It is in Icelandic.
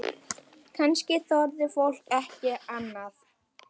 Kannski þorði fólk ekki annað?